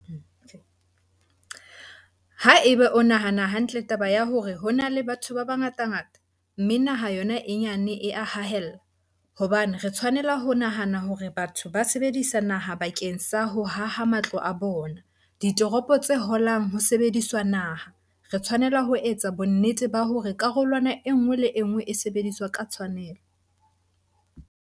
Haeba o nahana hantle taba ya hore ho na le batho ba bangatangata, mme naha yona e nyane e a haella, hobane re tshwanela ho nahana hore batho ba sebedisa naha bakeng sa ho haha matlo a bona - ditoropo tse holang ho sebediswa naha, re tshwanela ho etsa bonnete ba hore karolwana e nngwe le e nngwe e sebediswa ka tshwanelo.